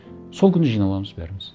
сол күні жиналамыз бәріміз